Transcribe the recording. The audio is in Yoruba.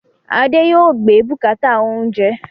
Adé yòó gbé bùkátà oúnjẹ